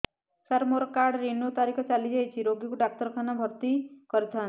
ସାର ମୋର card renew ତାରିଖ ଚାଲି ଯାଇଛି ରୋଗୀକୁ ଡାକ୍ତରଖାନା ରେ ଭର୍ତି କରିଥାନ୍ତି